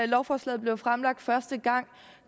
lovforslaget blev fremsat første gang